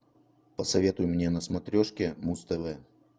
посоветуй мне на смотрешке муз тв